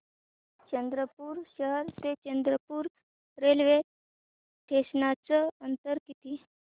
चंद्रपूर शहर ते चंद्रपुर रेल्वे स्टेशनचं अंतर किती